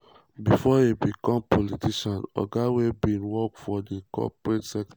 bifor e become politician oga were bin work for di corporate sector.